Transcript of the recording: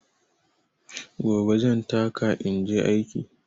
Gobe zan taka inje aiki.